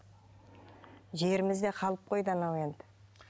жеріміз де қалып қойды анау енді